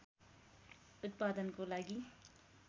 उत्पादनको लागि